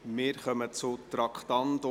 Wir kommen zum Traktandum 50.